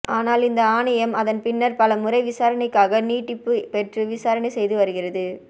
ஆனால் இந்த ஆணையம் அதன்பின்னர் பலமுறை விசாரணைக்காக நீட்டிப்பு பெற்று விசாரணை செய்து வருகிறது